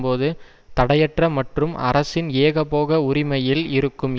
போது தடையற்ற மற்றும் அரசின் ஏகபோக உரிமையில் இருக்கும்